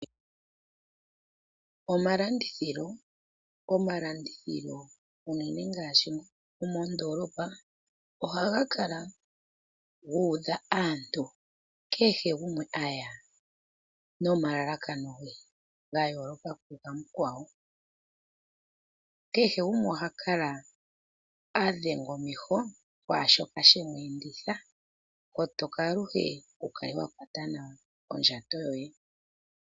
Omalandithilo, omalandithilo uunene ngaashi mondolopa ohaga kala gu utha aantu, kehe gumwe aya nomalalakano ge ga yoloka kugamukwawo. Kehe gumwe oha kala adhenga omeho kwashoka shemu enditha, kotoka aluhe wukale wa kwata nawa ondjato yoye.